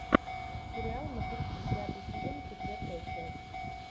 сериал мотыльки пятый сезон четвертая часть